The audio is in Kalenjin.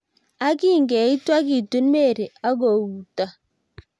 ak kingyeitwo kitun Mary ako utto